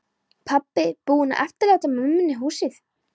Pabbinn búinn að eftirláta mömmunni húsið.